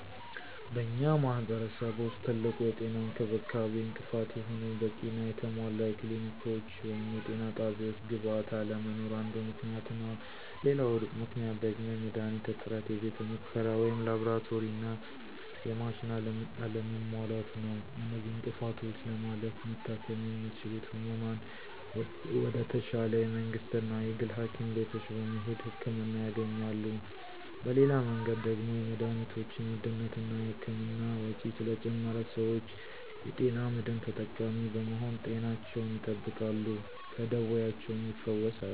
በእኛ ማህረሰብ ውስጥ ትልቁ የጤና እንክብካቤ እንቅፋት የሆነው በቂና የተሟላ የክሊኒኮች ወይም የጤና ጣቢያወች ግብዓት አለመኖር አንዱ ምክንያት ነው፤ ሌላው ምክንያት ደግሞ የመድሀኒት እጥረት፥ የቤተ ሙከራ ወይም ላብራቶሪና የማሽን አለመሟላት ነው። እነዚህን እንቅፍቶች ለማለፍ መታከም የሚችሉት ህሙማን ወደ ተሻለ የመንግስትና የግል ሀኪም ቤቶች በመሄድ ህክምና ያገኛሉ። በሌላ መንገድ ደግሞ የመድሀኒቶችን ውድነትና እና የህክምና ወጭ ስለጨመረ ሰወች የጤና መድን ተጠቃሚ በመሆን ጤናቸውን ይጠብቃሉ ከደወያቸውም ይፈወሳሉ።